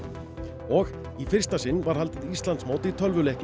og í fyrsta sinn var haldið Íslandsmót í tölvuleiknum